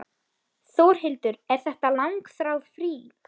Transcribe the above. Þórhildur: Er þetta langþráð frí?